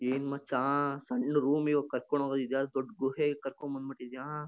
ಏನ್ ಮಚ್ಚಾ ಸಣ್ಣ ರೂಮ್ ಇವಾಗ ಕರ್ಕೊಂಡ್ ಹೋಗೋದ್ ಇದ್ ಯಾವುದೊ ದೊಡ್ಡ ಗುಹೆಗೆ ಕರ್ಕೊಂಡ್ ಬಂದ್ ಬಿಟ್ಟಿದಿಯಾ.